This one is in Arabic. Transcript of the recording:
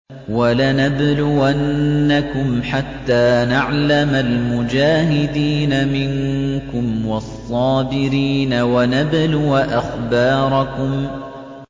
وَلَنَبْلُوَنَّكُمْ حَتَّىٰ نَعْلَمَ الْمُجَاهِدِينَ مِنكُمْ وَالصَّابِرِينَ وَنَبْلُوَ أَخْبَارَكُمْ